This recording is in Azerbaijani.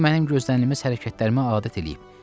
O mənim gözlənilməz hərəkətlərimə adət eləyib.